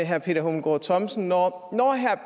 herre peter hummelgaard thomsen når